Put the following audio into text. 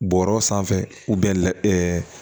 Bɔrɔ sanfɛ